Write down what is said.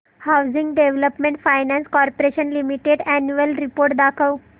housing development finance corporation limited annual report दाखव